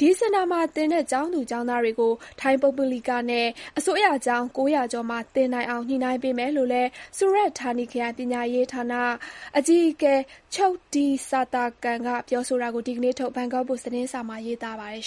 ဒီစင်တာမှာသင်တဲ့ ကျောင်းသူ ကျောင်းသားတွေကို ထိုင်း ပုဂ္ဂလိကနဲ့ အစိုးရကျောင်း ၉၀၀ ကျော်မှာ သင်နိုင်အောင် ညှိနိုင်းပေးမယ်လို့လည်း ဆူရတ်ဌာနီခရိုင် ပညာရေးဌာ အကြီးအကဲ Chokdee Srathakan က ပြောဆိုတာကို ဒီနေ့ထုတ် ဘန်ကောက်ပို့စ် သတင်းစာမှာ ရေးသားပါတယ်